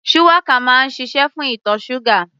Shuwaka máa ń ṣiṣé fún ìtọ̀ ṣúgà.